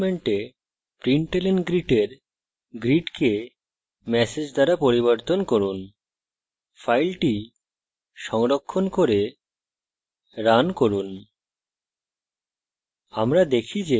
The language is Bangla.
print statement println greet এর greet কে message দ্বারা পরিবর্তন করুন file সংরক্ষণ করে রান করুন